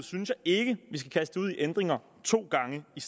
synes jeg ikke vi skal kaste ud i ændringer to gange i